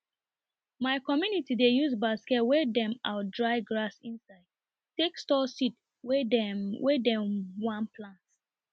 my community dey use basket wey dem out dry grass inside take store seed wey dem wey dem one plant